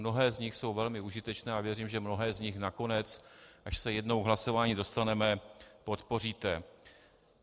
Mnohé z nich jsou velmi užitečné a věřím, že mnohé z nich nakonec, až se jednou k hlasování dostaneme, podpoříte.